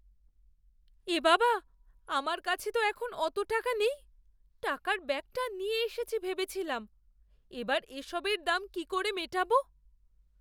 এ বাবা! আমার কাছে তো এখন অত টাকা নেই, টাকার ব্যাগটা নিয়ে এসেছি ভেবেছিলাম। এবার এসবের দাম কি করে মেটাবো?